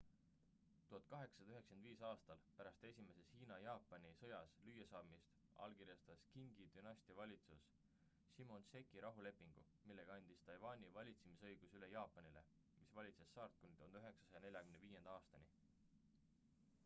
1895. aastal pärast esimeses hiina-jaapani 1894–1895 sõjas lüüasaamist allkirjastas qingi dünastia valitsus shimonoseki rahulepingu millega andis taiwani valitsemisõiguse üle jaapanile mis valitses saart kuni 1945. aastani